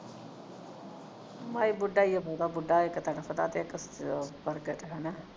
ਮਾਈ ਬੁੱਢੀ ਹੀਰਾ ਬਹੁਤਾ ਬੁੱਢਾ ਇਕ ਤੜਫਦਾ ਤੇ ਤੇ ਇਕ ਉਹ ਮੁੜ ਕੇ ਹੈ ਨਾ